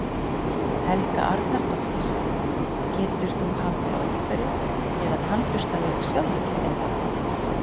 Helga Arnardóttir: Getur þú haldið á einhverju eða tannburstað þig sjálfur eða?